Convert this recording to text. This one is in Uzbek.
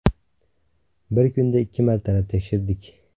Bir kunda ikki martalab tekshirdik.